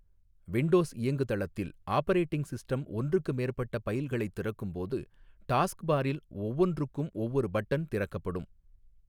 Windows இயங்குதளத்தில் operating system ஒன்றுக்கு மேற்பட்ட பைல்களைத் திறக்கும் போது டாஸ்க் பாரில் ஒவ்வொன்றுக்கும் ஒவ்வொரு பட்டன் திறக்கப்படும்.